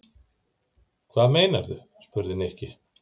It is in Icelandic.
Hvað meinarðu? spurði Nikki.